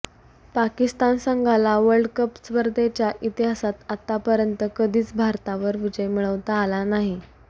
पाकिस्तान संघाला world cup स्पर्धेच्या इतिहासात आतापर्यंत कधीच भारतावर विजय मिळवता आला नाही